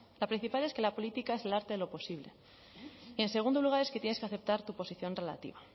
la principal es que la política es el arte de lo posible y en segundo lugar es que tienes que aceptar tu posición relativa